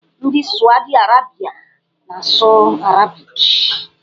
Ndị Sawdi Arabịa na-asụ arabiki.